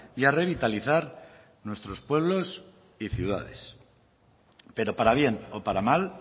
y a revitalizar nuestros pueblos y ciudades pero para bien o para mal